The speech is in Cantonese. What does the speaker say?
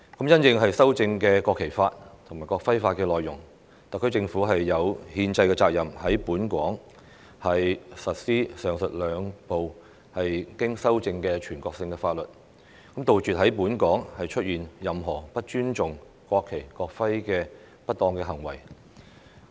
因應修正的《國旗法》及《國徽法》內容，特區政府有憲制責任在本港實施上述兩部經修正的全國性法律，杜絕在本港出現任何不尊重國旗、國徽的不當行為。